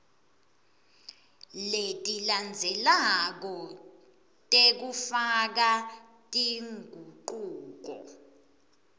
letilandzelako tekufaka tingucuko